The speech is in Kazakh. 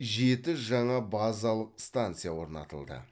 жеті жаңа базалық станция орнатылды